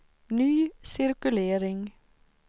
ny cirkulering